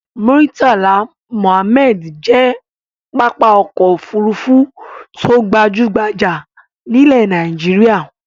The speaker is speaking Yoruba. Murtala Muhammad jẹ́ pápá ọkọ̀-òfurufú tó gbajú-gbajà nílẹ̀ Nàìjíríà.